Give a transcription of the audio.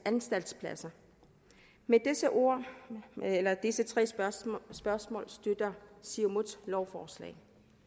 anstaltspladser med disse tre spørgsmål spørgsmål støtter siumut lovforslaget